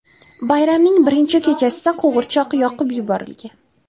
Bayramning birinchi kechasida qo‘g‘irchoq yoqib yuborilgan.